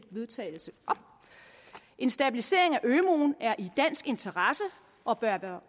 vedtagelse en stabilisering af ømuen er i dansk interesse og bør være